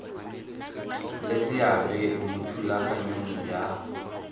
le seabe mo thulaganyong ya